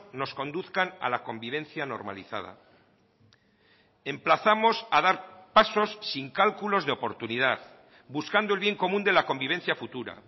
nos conduzcan a la convivencia normalizada emplazamos a dar pasos sin cálculos de oportunidad buscando el bien común de la convivencia futura